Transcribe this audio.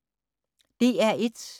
DR1